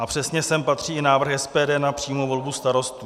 A přesně sem patří i návrh SPD na přímou volbu starostů.